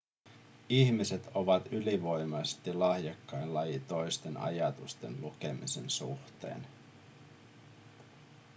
ihmiset ovat ylivoimaisesti lahjakkain laji toisten ajatusten lukemisen suhteen